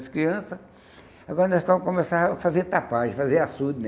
As crianças... Agora nós começar a fazer tapagem, a fazer açude, né?